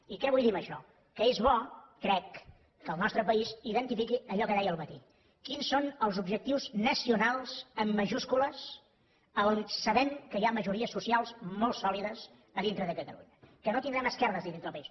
i què vull dir amb això que és bo crec que el nostre país identifiqui allò que deia al matí quins són els objectius nacionals amb majúscules a on sabem que hi ha majories socials molt sòlides a dintre de catalunya que no tindrem esquerdes a dintre del país